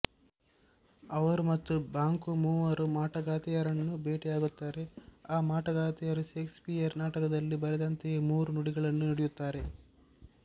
ಅವರು ಮತ್ತು ಬಾಂಕೋ ಮೂವರು ಮಾಟಗಾತಿಯರನ್ನು ಭೇಟಿಯಾಗುತ್ತಾರೆ ಆ ಮಾಟಗಾತಿಯರೂ ಷೇಕ್ಸ್ ಪಿಯರ್ ನಾಟಕದಲ್ಲಿ ಬರೆದಂತೆಯೇ ಮೂರು ನುಡಿಗಳನ್ನು ನುಡಿಯುತ್ತಾರೆ